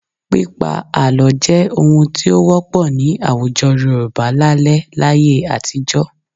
Pípa àlọ́ jẹ́ ohun tí ó wọ́pọ̀ ní àwùjọ Yorùbá lálẹ́ láyé àtijọ́